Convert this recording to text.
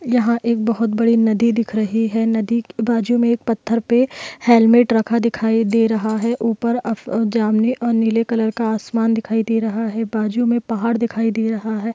यहाँ एक बहुत बड़ी नदी दिख रही हैं नदी के बाजू में एक पत्थर पे हेलमेट रखा दिखाई दे रहा हैं ऊपर अ-अह जामने और नीले कलर का आसमान दिखाई दे रहा हैं बाजू में पहाड़ दिखाई दे रहा हैं।